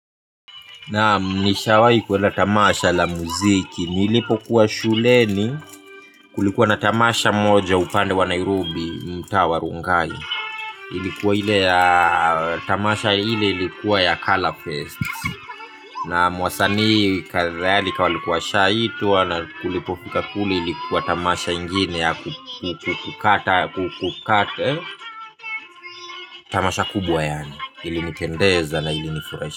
Naam nishawahi kuenda tamasha la muziki. Nilipokuwa shuleni kulikuwa na tamasha moja upande wa Nairobi mtaa wa Rongai. Ilikuwa ile ya tamasha ile ilikuwa ya color fest. Naam wasanii kadhalika walikuwa washaitwa na tulipofika kule ilikuwa ni tamasha ingine ya kukata. Tamasha kubwa yaani ilinipendeza na ilinifurahisha.